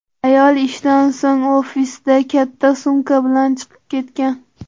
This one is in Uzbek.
Ayol ishdan so‘ng ofisdan katta sumka bilan chiqib ketgan.